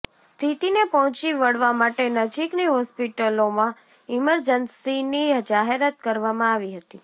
સ્થિતિને પહોંચી વળવા માટે નજીકની હોસ્પિટલોમાં ઈમરજન્સીની જાહેરાત કરવામાં આવી હતી